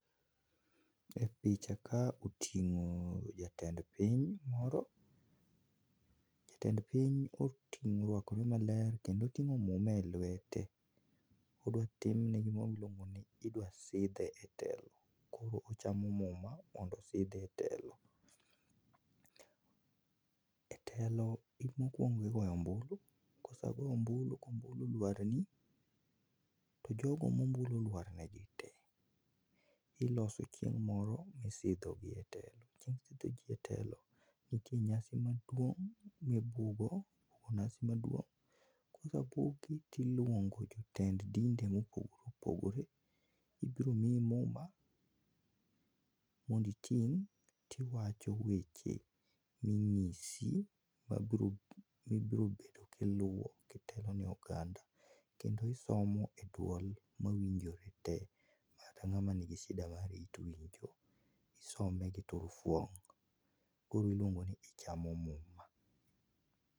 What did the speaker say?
E picha kaa oting'o jatend piny moro ,jatend piny oruakore maler kendo oting'o muma e lwete idwa timne gima iluongoni, idwa sidhe etelo. Koro ochamo muma mondo osidhe e telo. E telo mokuongo igoyo ombulu, kosego ombulu, kombulu oluarni to jogo mombulu oluar negi tee, iloso chieng' moro misidhogi e telo, chieng' sidhoji etelo, nitie nyasi maduong' mibudho, nyasi maduong' kosebugi tiluongo jotend dinde mopogore opogore, ibiro miyi muma mondo iting' tiwacho weche minyisi mabiro ,mibiro bedo kiluo kitelo ne oganda kendo kisomo e dwol mawinjore tee kata ng'ama nigi shida mar it winjo, isome gi turufuong' koro iluongo ni ichamo muma.